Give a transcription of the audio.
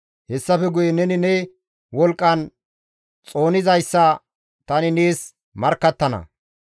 Hessafe guye neni ne wolqqan xoonizayssa tani nees markkattana.